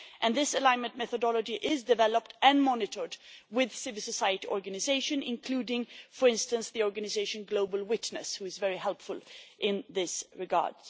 This alignment methodology is developed and monitored in conjunction with civil society organisations, including, for instance, the organisation Global Witness, which is very helpful in this regard.